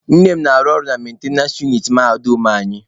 Nne m na-arụ ọrụ na mentenance uniti mahadum anyị.